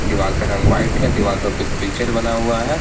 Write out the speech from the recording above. दीवाल का रंग व्हाइट है दीवार पर कुछ पिक्चर बना हुआ है।